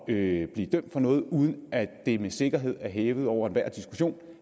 at blive dømt for noget uden at det er med sikkerhed og hævet over enhver diskussion